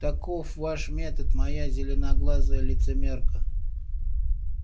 таков ваш метод моя зеленоглазая лицемерка